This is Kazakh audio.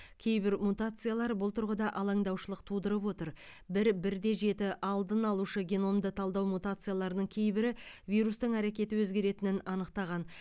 кейбір мутациялар бұл тұрғыда алаңдаушылық тудырып отыр бір бірде жеті алдын алушы геномды талдау мутацияларының кейбірі вирустың әрекеті өзгертетінін анықтаған